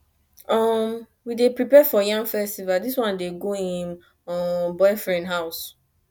um we dey prepare for yam festival dis one dey go im um boyfriend house